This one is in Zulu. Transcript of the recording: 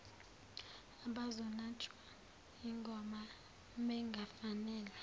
abazonatshwa ingoba bengafanele